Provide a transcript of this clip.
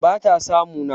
bata samu na